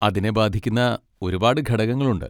അതിനെ ബാധിക്കുന്ന ഒരുപാട് ഘടകങ്ങൾ ഉണ്ട്.